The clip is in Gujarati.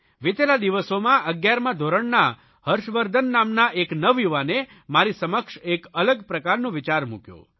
વિતેલા દિવસોમાં 11મા ધોરણના હર્ષવર્ધન નામના એક નવયુવાને મારી સમક્ષ એક અલગ પ્રકારનો વિચાર મૂક્યો